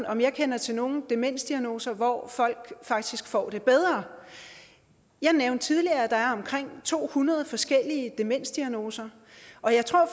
om jeg kender til nogen demensdiagnoser hvor folk faktisk får det bedre jeg nævnte tidligere at der er omkring to hundrede forskellige demensdiagnoser og jeg tror